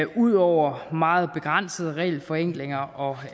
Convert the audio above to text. ud over meget begrænsede regelforenklinger og